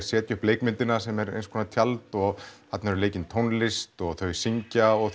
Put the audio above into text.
setja upp leikmyndina sem er eins konar tjald og þarna er leikin tónlist og þau syngja og